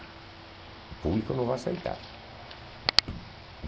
O público não vai aceitar.